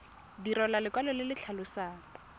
direlwa lekwalo le le tlhalosang